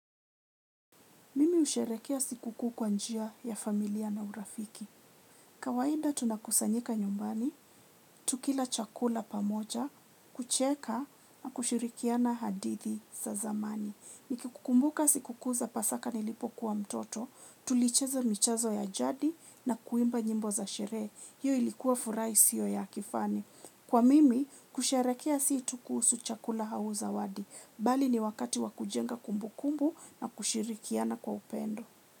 Mimi husherehekea sikukuu kwa njia ya familia na urafiki. Kawaida tunakusanyika nyumbani, tukila chakula pamoja, kucheka na kushirikiana hadithi za zamani. Nikikukumbuka sikukuu za pasaka nilipokuwa mtoto, tulicheza michezo ya jadi na kuimba nyimbo za sherehe. Hiyo ilikuwa furaha isiyo ya kifani. Kwa mimi, kusherehekea si tu kuhusu chakula au zawadi. Bali ni wakati wa kujenga kumbukumbu na kushirikiana kwa upendo.